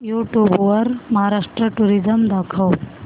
YouTube वर Maharashtra tourism दाखव